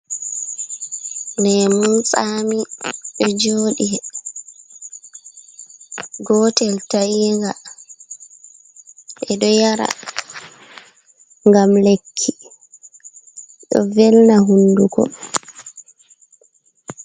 Lemun tsami ɗo joɗi gotel tainga ɓe ɗo yara gam lekki ɗo velna hunduko.